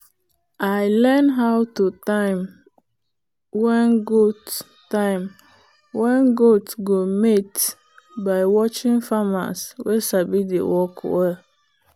i learn how to time when goat time when goat go mate by watching farmers wey sabi the work well.